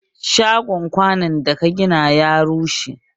Shagon kwanun da ka gina ya rushe?